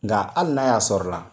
Nga hali n'a y'a sɔrɔla